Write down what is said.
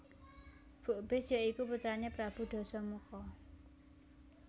Bukbis ya iku putrané Prabu Dasamuka